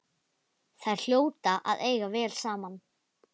Þær hljóta að eiga vel saman.